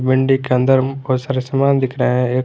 अंदरम बहोत सारे समान दिख रहे है एक--